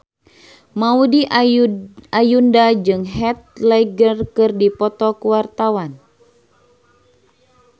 Maudy Ayunda jeung Heath Ledger keur dipoto ku wartawan